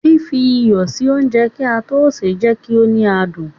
Fífi iyọ̀ sí oúnjẹ kí a tó sè é máa jẹ kí ó ní adùn.